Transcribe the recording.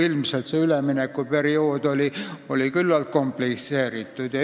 Ilmselt oli see üleminek küllalt komplitseeritud.